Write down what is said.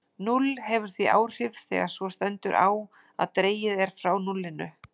Núll hefur því áhrif þegar svo stendur á að dregið er frá núllinu.